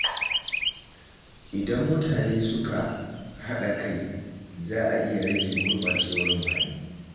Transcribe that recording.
Idan mutane suka haɗa kai, za a iya rage gurɓacewar muhalli.